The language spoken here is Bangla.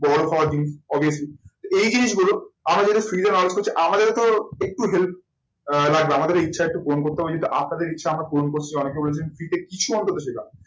বড় পাওয়ার দিন obviously এই জিনিস গুলো আমরা যদি free তে download করছে আমাদেরও তো একটু help আহ লাগবে আমাদের ইচ্ছা একটু পূরণ করতে হবে যেহেতু আপনাদের ইচ্ছা আমরা পূরণ করছি অনেকে বলছেন free তে কিছু অন্তত শেখা হবে।